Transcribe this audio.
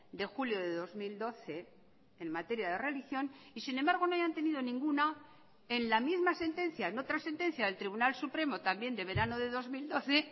de julio de dos mil doce en materia de religión y sin embargo no hayan tenido ninguna en la misma sentencia en otra sentencia del tribunal supremo también de verano de dos mil doce